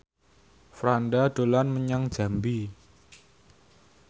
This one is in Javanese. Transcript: Franda dolan menyang Jambi